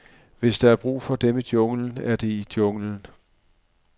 Hvis der er brug for dem i junglen, er de i junglen.